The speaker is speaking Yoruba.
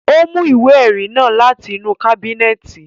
Ó mú ìwé ẹrí náà láti inú kábínẹ̀tì